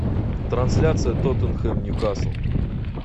трансляция тоттенхэм ньюкасл